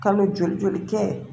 Kalo joli joli kɛ